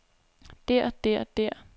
der der der